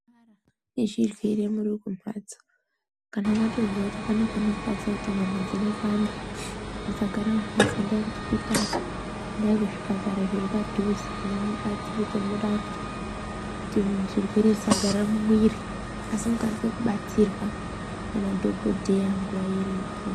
Zvichibvire muri kumhatsoo kana matozwaa kuti pane panorwadza kuti nyama dzinopanda, musagara mumhatsoo enda kuchipitara, endai kuzvipatara zviri padhuze mubatsirike murapwe kuti zvirwere zvisagara mumuiri asi mukwanise kubatsirwaa nemadhokodheyaa nguva iripo.